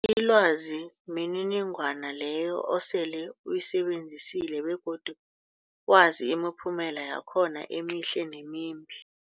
Ilwazi mniningwana leyo osele uyisebenzisile begodu wazi imiphumela yakhona emihle nemimbi.